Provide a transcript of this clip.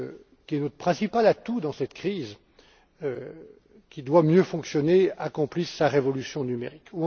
qui est notre principal atout dans cette crise et qui doit mieux fonctionner, accomplisse sa révolution numérique.